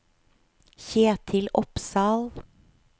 Kjetil Opsahl